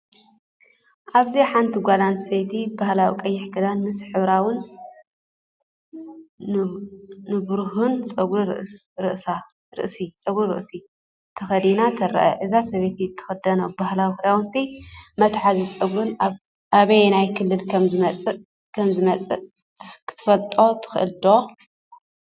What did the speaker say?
ኣብዚ ሓንቲ ጓል ኣንስተይቲ ባህላዊ ቀይሕ ክዳን ምስ ሕብራዊን ንብሩህን ጸጉሪ ርእሲ ተኸዲና ትርአ። እዛ ሰበይቲ እትኽደኖ ባህላዊ ክዳውንትን መትሓዚ ጸጉርን ካብ ኣየናይ ክልል ከም ዝመጽእ ክትፈልጥ ትኽእል ዲኻ?